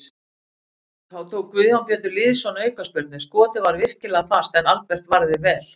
Þá tók Guðjón Pétur Lýðsson aukaspyrnu, skotið var virkilega fast en Albert varði vel.